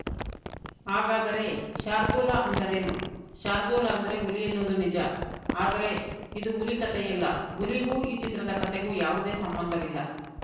ಹಾಗಾದ್ರೆ ಶಾರ್ದೂಲ ಅಂದ್ರೇನು ಶಾರ್ದೂಲ ಅಂದ್ರೆ ಹುಲಿ ಎನ್ನುವುದು ನಿಜ ಆದ್ರೆ ಇದು ಹುಲಿ ಕತೆಯಲ್ಲ ಹುಲಿಗೂ ಈ ಚಿತ್ರದ ಕತೆಗೂ ಯಾವುದೇ ಸಂಬಂಧವಿಲ್ಲ